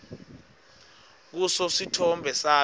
kuso sitfombe sami